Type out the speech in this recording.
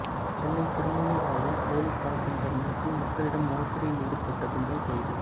சென்னை திருமுல்லைவாயலில் போலி கால்சென்டர் நடத்தி மக்களிடம் மோசடியில் ஈடுபட்ட கும்பல் கைது